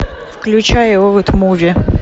включай роуд муви